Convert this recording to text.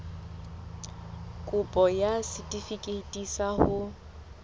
kopo ya setefikeiti sa ho